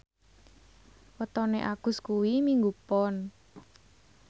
wetone Agus kuwi Minggu Pon